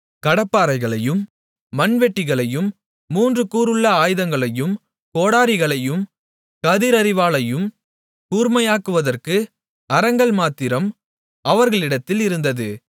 கடப்பாரைகளையும் மண்வெட்டிகளையும் மூன்று கூருள்ள ஆயுதங்களையும் கோடரிகளையும் கதிர் அரிவாளையும் கூர்மையாக்குவதற்கு அரங்கள் மாத்திரம் அவர்களிடத்தில் இருந்தது